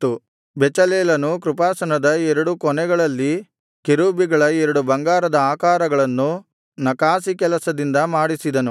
ಬೆಚಲೇಲನು ಕೃಪಾಸನದ ಎರಡು ಕೊನೆಗಳಲ್ಲಿ ಕೆರೂಬಿಗಳ ಎರಡು ಬಂಗಾರದ ಆಕಾರಗಳನ್ನು ನಕಾಸಿಕೆಲಸದಿಂದ ಮಾಡಿಸಿದನು